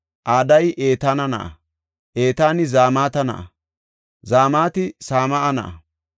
Adayi Etaana na7a; Etaani Zamata na7a; Zamati Same7a na7a;